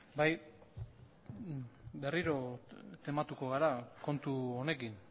bai berriro tematuko gara kontu honekin